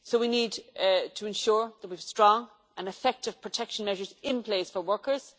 So we need to ensure that we have strong and effective protection measures in place for workers.